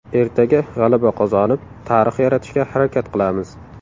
Ertaga g‘alaba qozonib, tarix yaratishga harakat qilamiz.